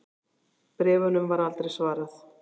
Bréfunum var aldrei svarað.